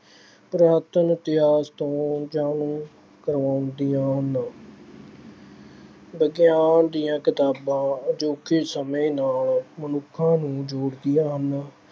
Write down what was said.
ਪੁਰਾਤਨ ਇਤਿਹਾਸ ਤੋਂ ਜਾਣੂ ਕਰਵਾਉਂਦੀਆਂ ਹਨ। ਵਿਗਿਆਨ ਦੀਆਂ ਕਿਤਾਬਾਂ ਅਜੋਕੇ ਸਮੇਂ ਨਾਲ ਮਨੁੱਖਾਂ ਨੂੰ ਜੋੜਦੀਆਂ ਹਨ।